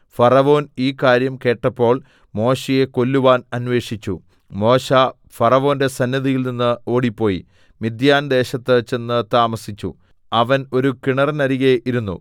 ഫറവോൻ ഈ കാര്യം കേട്ടപ്പോൾ മോശെയെ കൊല്ലുവാൻ അന്വേഷിച്ചു മോശെ ഫറവോന്റെ സന്നിധിയിൽനിന്ന് ഓടിപ്പോയി മിദ്യാൻദേശത്ത് ചെന്നു താമസിച്ചു അവൻ ഒരു കിണറിനരികെ ഇരുന്നു